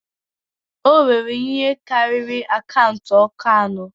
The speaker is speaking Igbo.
O nwere ihe karịrị akaụntụ ọkụ anọ.